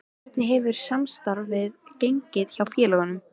Hvernig hefur samstarfið gengið hjá félögunum?